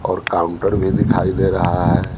और काउंटर भी दिखाई दे रहा है।